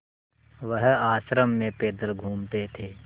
वह आश्रम में पैदल घूमते थे